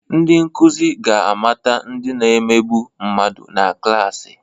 Ndị nkuzi ga-amata ndị na-emegbu mmadụ nọ na klaasị